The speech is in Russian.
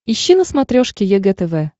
ищи на смотрешке егэ тв